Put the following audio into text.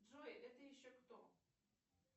джой это еще кто